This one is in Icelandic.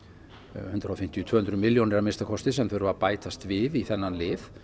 hundrað og fimmtíu til tvö hundruð milljónir sem þurfa að bætast við í þennan lið